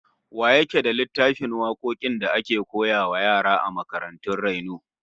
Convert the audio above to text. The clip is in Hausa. Wa yake da littafin wakokin da ake wa yara a makarantun raino?